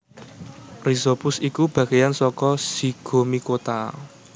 Rhizopus iku bagéyan saka Zygomicota